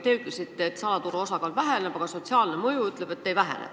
Te ütlesite, et salaturu osakaal väheneb, aga sotsiaalse mõju hinnang ütleb, et ehk ei vähene.